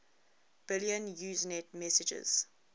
billion usenet messages